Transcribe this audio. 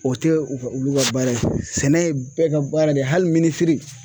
O tɛ u ka olu ka baara ye sɛnɛ ye bɛɛ ka baara de ye hali minisiri.